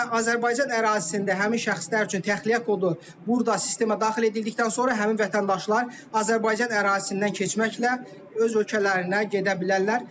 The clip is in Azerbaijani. Və Azərbaycan ərazisində həmin şəxslər üçün təxliyə kodu burda sistemə daxil edildikdən sonra həmin vətəndaşlar Azərbaycan ərazisindən keçməklə öz ölkələrinə gedə bilərlər.